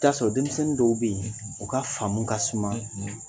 Taa sɔrɔ denmisɛnnin dɔw be ye u ka faamu ka suman